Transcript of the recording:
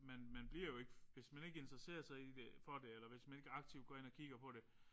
Man man bliver jo ikke hvis man ikke interesserer sig i det for det eller hvis man ikke går aktivt ind og kigger på det